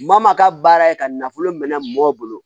Maa maa ka baara ye ka nafolo minɛ maaw bolo